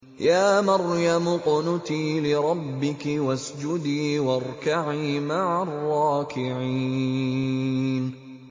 يَا مَرْيَمُ اقْنُتِي لِرَبِّكِ وَاسْجُدِي وَارْكَعِي مَعَ الرَّاكِعِينَ